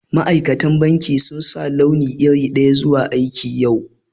Masu aikin banki sun sa launi iri daya zuwa aiki yau.